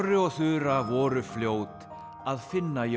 og Þura voru fljót að finna jól